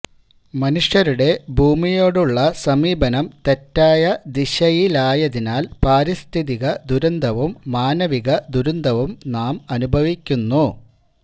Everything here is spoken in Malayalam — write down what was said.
മനുഷ്യരുടെ ഭൂമിയോടുള്ള സമീപനം തെറ്റായ ദിശയിലായതിനാല് പാരിസ്ഥിതിക ദുരന്തവും മാനവിക ദുരന്തവും നാം അനുഭവിക്കുന്നു